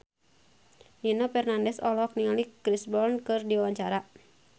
Nino Fernandez olohok ningali Chris Brown keur diwawancara